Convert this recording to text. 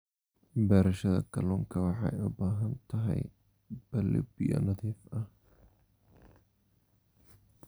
Beerashada kalluunka waxay u baahan tahay balli biyo nadiif ah.